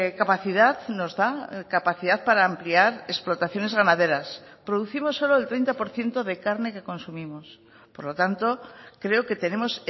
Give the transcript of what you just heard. capacidad nos da capacidad para ampliar explotaciones ganaderas producimos solo el treinta por ciento de carne que consumimos por lo tanto creo que tenemos